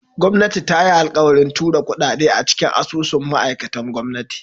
Gwamnati ta yi alkawarin tura kudade cikin asusun ma'aikatan gwamnati.